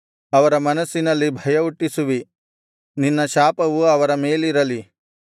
ಅವರ ಮನಸ್ಸಿನಲ್ಲಿ ಭಯಹುಟ್ಟಿಸುವಿ ನಿನ್ನ ಶಾಪವು ಅವರ ಮೇಲಿರಲಿ